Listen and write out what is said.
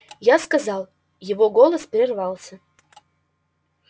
я сказал его голос прервался